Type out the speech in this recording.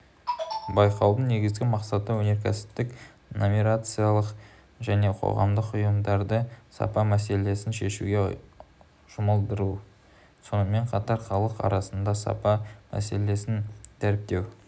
байқаудың негізгі мақсаты өнеркәсіптік коммерциялық және қоғамдық ұйымдарды сапа мәселесін шешуге жұмылдыру сонымен қатар халық арасында сапа мәселесін дәріптеу